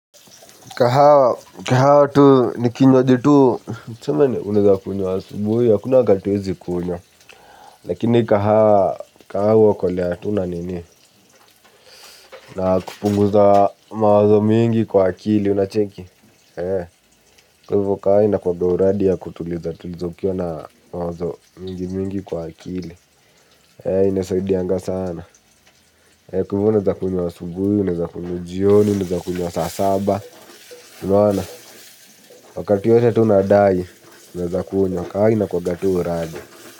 Kahawa, kahawa tu, nikinywaji tu, tuseme, uneza kunywa asubuhi, hakuna wakati hauwezi kunywa. Lakini kahawa, kahawa huokolea tu na nini na kupunguza mawazo mingi kwa akili, unacheki, ee, kwa hivo kaya inakuwanga uradi ya kutuliza, tuliza ukiwa na mawazo mingi mingi kwa akili, ee, inasaidianga sana, ee, kwa hivyo unaweza kunywa asubuhi, unaweza kunywa jioni, unaweza kunywa saa saba, unaona? Wakati yoyote tu unadai, unaweza kunywa. Kahaa inakuwanga tu uradi.